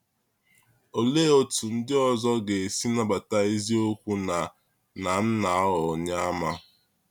Olee otú ndị ọzọ ga-esi nabata eziokwu na na m na-aghọ Onyeàmà?